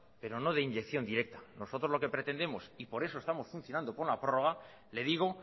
pero no de inyección directa nosotros lo que pretendemos y por eso estamos funcionando con la prórroga le digo